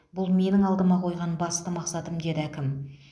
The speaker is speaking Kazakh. бұл менің алдыма қойған басты мақсатым деді әкім